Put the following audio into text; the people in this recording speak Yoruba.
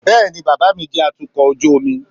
bẹẹni, bàbá mí jẹ atukọ̀ ojú omi.